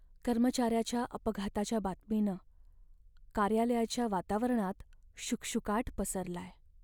कर्मचाऱ्याच्या अपघाताच्या बातमीनं कार्यालयाच्या वातावरणात शुकशुकाट पसरलाय.